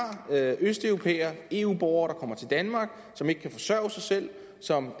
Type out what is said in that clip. østeuropæere eu borgere der kommer til danmark som ikke kan forsørge sig selv og som